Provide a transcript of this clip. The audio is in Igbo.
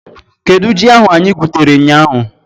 Kedụ ji ahu anyị gwutere ụnyaahụ?